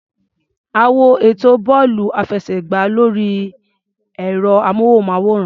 A wo ètò bọ́ọ̀lù-àfẹsẹ̀gbá lórí ẹ̀rọ-amóhùnmáwòrán.